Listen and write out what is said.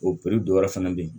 O dɔ wɛrɛ fɛnɛ bɛ yen